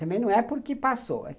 Também não é porque passou.